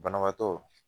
Banabaatɔ